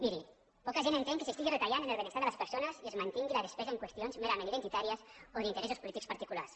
miri poca gent entén que s’estigui retallant en el benestar de les persones i es mantingui la despesa en qüestions merament identitàries o d’interessos polítics particulars